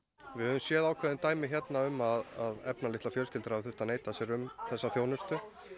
við höfum séð ákveðin dæmi hérna um að efnalitlar fjölskyldur hafa þurft að neita sér um þessa þjónustu